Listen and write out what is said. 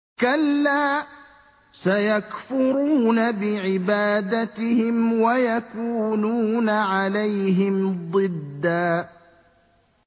كَلَّا ۚ سَيَكْفُرُونَ بِعِبَادَتِهِمْ وَيَكُونُونَ عَلَيْهِمْ ضِدًّا